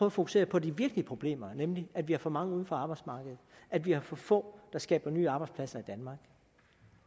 at fokusere på de virkelige problemer nemlig at vi har for mange uden for arbejdsmarkedet at vi har for få der skaber nye arbejdspladser i danmark